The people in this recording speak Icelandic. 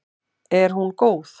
Er hún góð?